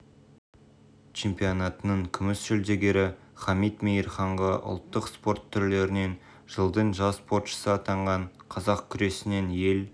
чемпионатының күміс жүлдегері хамит мейірханға ұлттық спорт түрлерінен жылдың жас спортшысы атанған қазақ күресінен ел